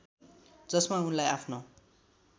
जसमा उनलाई आफ्नो